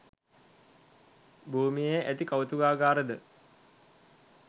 භූමියේ ඇති කෞතුකාගාර ද